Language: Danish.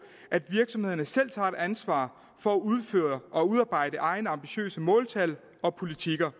at virksomhederne selv tager et ansvar for at udføre og udarbejde egne ambitiøse måltal og politikker